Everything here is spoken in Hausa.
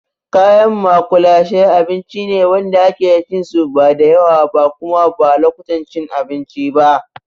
Kayan maƙulashe abinci ne wanda ake cin su ba da yawa ba kuma ba lokutan cin abinci ba.